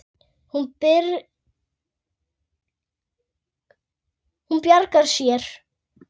Hún bjargar sér.